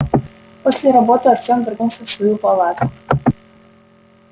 после работы артем вернулся в свою палату